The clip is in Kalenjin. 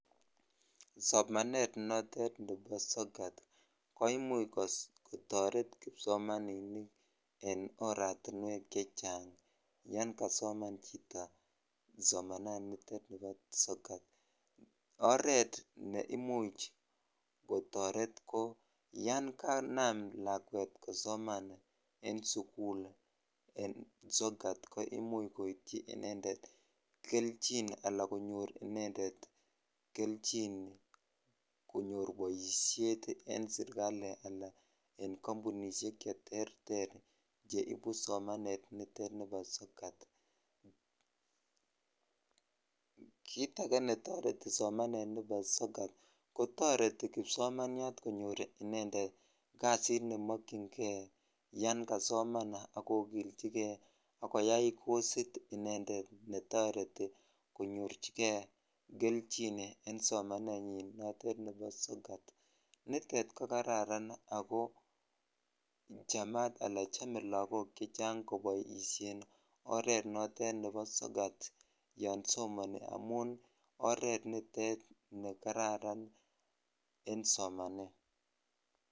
Somanet notet nebo sokat ko imuch kotoret kibsomaniniken oratiwek chechang yan kasoman chito somaninitet bo sokat oret ne imuch kotoret yon kanam lakwet kosoman en sukulen aokat ko omuch koityi inended kelchin ala konyor inended kelchin koyor boishet en sirkali al ko kampunishek neibu somanet nebo nitet nibo sokat(puse) kit ake netireti somanet nebo sokat ko toreti kipsomanyat konyor inended kasit nemokyinkei yan kasoman ak kokilchi kei ak koyai kosit inended netoreti koyorchikei kelchin en sonanenyi notet nebo sokat nitet ko kararan ako chamat ala chome lakok chechang ort notet nebo sokat yan somoni amun oret nitet ne kararan en somanet.